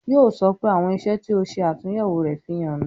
Yo sọ pé " àwọn iṣẹ́ tí ó ṣe atunyewo rẹ, fi hàn mi